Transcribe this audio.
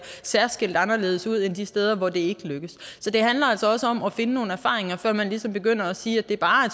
særskilt anderledes ud end de steder hvor det ikke lykkes så det handler altså også om at finde nogle erfaringer før man ligesom begynder at sige at det bare er